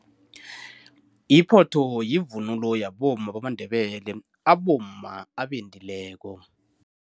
Iphotho yivunulo yabomma bamaNdebele, abomma abendileko.